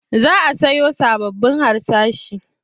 Za a siyo sababbun harsashi.